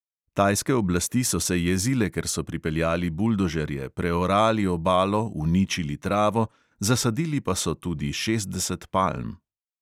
Tajske oblasti so se jezile, ker so pripeljali buldožerje, preorali obalo, uničili travo, zasadili pa so tudi šestdeset palm.